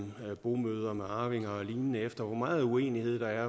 bomøder med arvinger og lignende efter hvor meget uenighed der er